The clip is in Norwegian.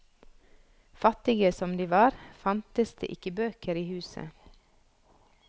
Fattige som de var, fantes det ikke bøker i huset.